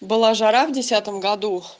была жара в десятом году